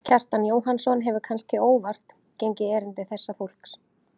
Kjartan Jóhannsson hefur, kannske óvart, gengið erinda þessa fólks.